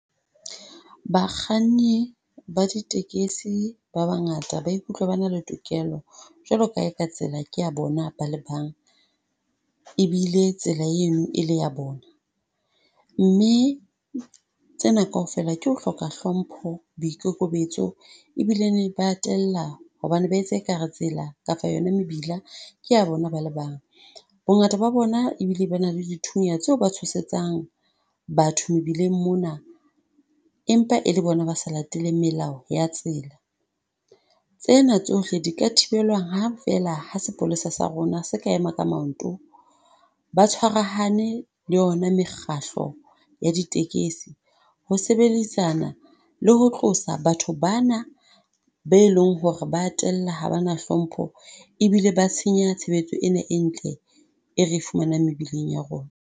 Bakganni ba ditekesi ba bangata ba ikutlwa ba na le tokelo jwalo ka ha e ka tsela ke ya bona ba le bang. Ebile tsela eno e le ya bona, mme tsena kaofela ke ho hloka hlompho, boikokobetso e bile ne ba a tella hobane ba etsa e ka re tsela kapa yona mebila ke ya bona ba le bang. Bongata ba bona ebile ba na le d thunya tseo ba batshosetsang batho mebileng mona, empa e le bona ba sa lateleng melao ya tsela. Tsena tsohle di ka thibelwa ha feela ha sepolesa sa rona se ka ema ka manto, ba tshwarahane le yona mekgahlo ya ditekesi. Ho sebedisana, le ho tlosa batho ba na be e leng ho re ba tella ha ba na hlompho, e bile ba tshenya tshebetso ena e ntle e re e fumanang mebileng ya rona.